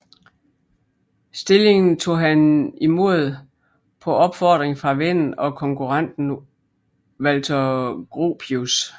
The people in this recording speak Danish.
Stilling tog han imod på opfordring fra vennen og konkurrenten Walter Gropius